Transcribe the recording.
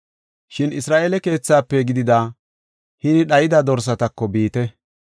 Shin Isra7eele keethaafe gidida hini dhayida dorsatako biite.